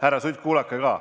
Härra Sutt, kuulake ka!